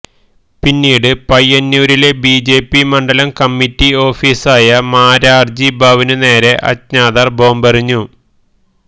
പിന്നീട് പയ്യന്നൂരിലെ ബിജെപി മണ്ഡലം കമ്മിറ്റി ഓഫിസായ മാരാര്ജി ഭവനുനേരെ അജ്ഞാതര് ബോംബെറിഞ്ഞു